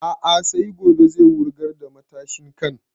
A'a sai gobe zai wurgar da matashin kan